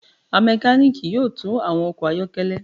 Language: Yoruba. A mekaniki yoo tun awọn ọkọ ayọkẹlẹ